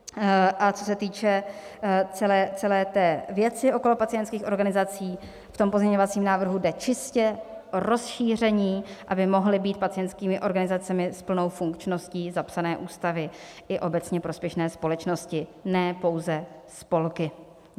A co se týče celé té věci okolo pacientských organizací, v tom pozměňovacím návrhu jde čistě o rozšíření, aby mohly být pacientskými organizacemi s plnou funkčností zapsané ústavy i obecně prospěšné společnosti, ne pouze spolky.